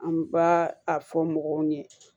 An b'a a fɔ mɔgɔw ɲɛ